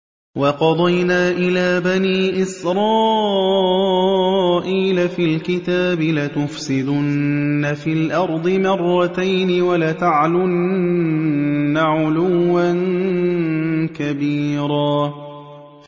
وَقَضَيْنَا إِلَىٰ بَنِي إِسْرَائِيلَ فِي الْكِتَابِ لَتُفْسِدُنَّ فِي الْأَرْضِ مَرَّتَيْنِ وَلَتَعْلُنَّ عُلُوًّا كَبِيرًا